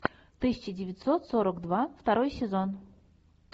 тысяча девятьсот сорок два второй сезон